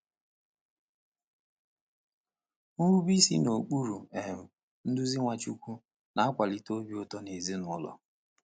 Nrube isi n’okpuru um nduzi Nwachukwu na-akwalite obi ụtọ ezinụlọ.